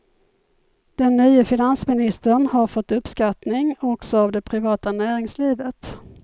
Den nye finansministern har fått uppskattning också av det privata näringslivet.